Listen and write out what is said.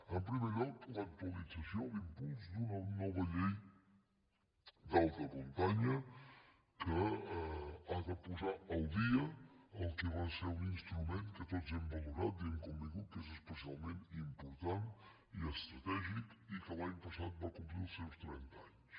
en primer lloc l’actualització l’impuls d’una nova llei d’alta muntanya que ha de posar al dia el que va ser un instrument que tots hem valorat i hem convingut que és especialment important i estratègic i que l’any passat va complir els seus trenta anys